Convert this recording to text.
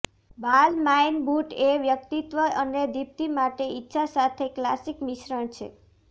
Balmain boot એ વ્યક્તિત્વ અને દીપ્તિ માટેની ઇચ્છા સાથે ક્લાસિક મિશ્રણ છે